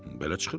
Belə çıxır.